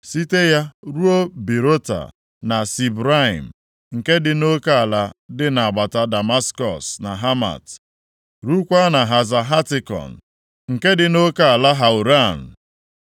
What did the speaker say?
site ya ruo Berota na Sibraim (nke dị nʼoke ala dị nʼagbata Damaskọs na Hamat), rukwaa na Haza Hatikon, nke dị nʼoke ala Hauran.